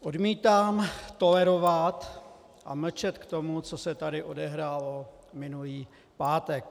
Odmítám tolerovat a mlčet k tomu, co se tady odehrálo minulý pátek.